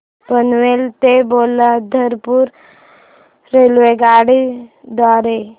पनवेल ते पोलादपूर रेल्वेगाडी द्वारे